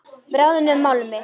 Bráðnum málmi.